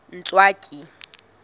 ntswaki